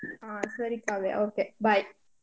ಹಾ ಸರಿ Kavya okay bye .